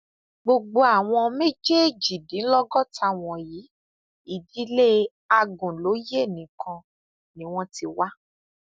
gbogbo àwọn méjèèjìdínlọgọta wọnyí ìdílé agunlóye nìkan ni wọn ti wá